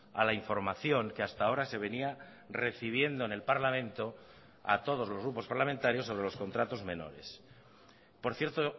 a la información que hasta ahora se venía recibiendo en el parlamento a todos los grupos parlamentarios sobre los contratos menores por cierto